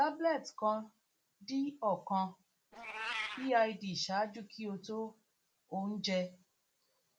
tablet pan d ọkan bid ṣaaju ki o to ounje